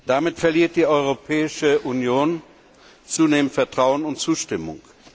Damit verliert die Europäische Union zunehmend Vertrauen und Zustimmung.